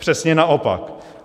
Přesně naopak.